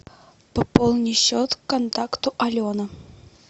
пополни счет контакту алена